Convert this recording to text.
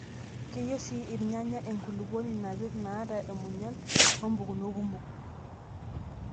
Keyieu sii irnyanya enkulupuoni napirr naata munyan oo mpukunot kumok.